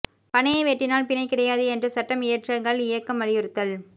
பனையை வெட்டினால் பிணை கிடையாது என்ற சட்டம் இயற்ற கள் இயக்கம் வலியுறுத்தல்